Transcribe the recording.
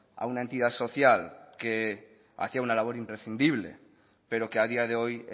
a una entidad social que hacía una labor imprescindible pero que a día de hoy